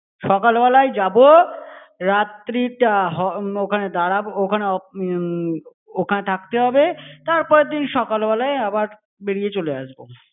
সকালবেলায় যাবো। রাত্রিটা হ~ ওখানে দাঁড়াব~ ওখানে অপ~ উম ওখানে থাকতে হবে। তারপরের দিন সকালবেলায় আবার বেরিয়ে চলে আসবো।